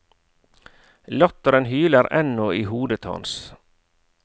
Latteren hyler ennå i hodet hans.